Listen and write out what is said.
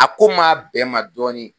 A ko maa bɛn n ma dɔɔni